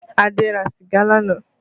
Adé ra sìgá lánàá